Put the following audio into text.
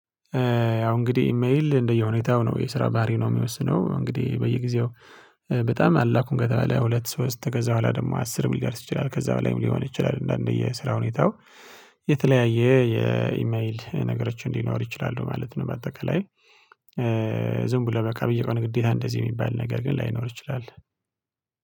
ያው እንግዲህ ኢሜል እንደየሁኔታው ነው የስራ ባህሪ ነው የሚወስነው እንግዲህ በየጊዜው በጣም አላኩም ከተባለ ሁለት ሶስት ከዛ በኋላ ደግሞ አስርም ሊደርስ ይችላል ከዛ በላይም ሊሆን ይችላል እንደአንድ የስራ ሁኔታው የተለያየ የኢሜል ነገሮች ሊኖር ይችላሉ ማለት ነው። በአጠቃላይ ዝም ብሎ በቃ በየ ቀኑ ግዴታ እንደዚህ የሚባል ነገር ግን ላይኖር ይችላል።